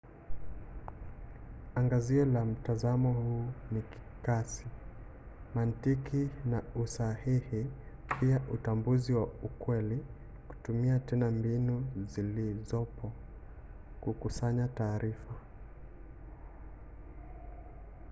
angazio la mtazamo huu ni kasi mantiki na usahihi pia utambuzi wa ukweli kutumia tena mbinu zilizopo kukusanya taarifa